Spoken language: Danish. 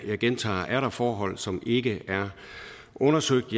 jeg gentager at er der forhold som ikke er undersøgt